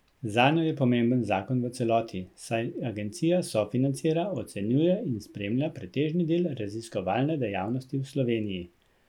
Zanjo je pomemben zakon v celoti, saj agencija sofinancira, ocenjuje in spremlja pretežni del raziskovalne dejavnosti v Sloveniji.